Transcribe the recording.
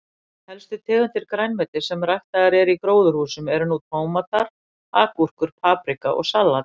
Helstu tegundir grænmetis sem ræktaðar eru í gróðurhúsum eru nú tómatar, agúrkur, paprika og salat.